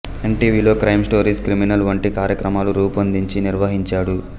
ఎన్ టీవీలో crime stories criminal వంటి కార్యక్రమాలు రూపొందించి నిర్వహించాడు